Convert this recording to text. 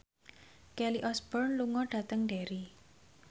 Kelly Osbourne lunga dhateng Derry